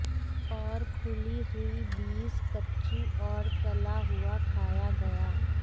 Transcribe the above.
और खुली हुई बीज कच्ची और तला हुआ खाया गया